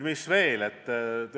Mis veel?